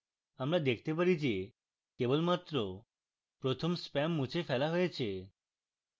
আমরা দেখতে পারি যে কেবলমাত্র প্রথম spam মুছে ফেলা হয়েছে